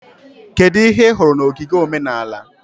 Kedu ihe ị hụrụ na ogige omenala?